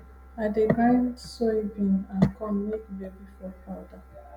i dey grind soybean and corn make baby food powder